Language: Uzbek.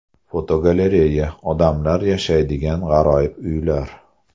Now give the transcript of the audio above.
Fotogalereya: Odamlar yashaydigan g‘aroyib uylar.